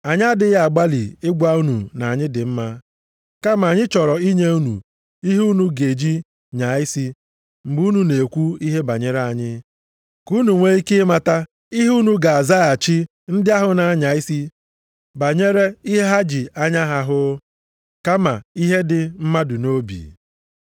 Anyị adịghị agbalị ịgwa unu na anyị dị mma, kama anyị chọrọ inye unu ihe unu ga-eji nyaa isi mgbe unu na-ekwu ihe banyere anyị, ka unu nwee ike ịmata ihe unu ga-azaghachi ndị ahụ na-anya isi banyere ihe ha ji anya ha hụ, kama ihe dị mmadụ nʼobi.